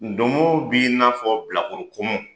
Donmo b'i n'afɔ bilakoro kɔmɔ